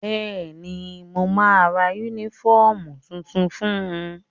Bẹ́ẹ̀ni, mo ma ra yúnífọ̀mù tuntun fun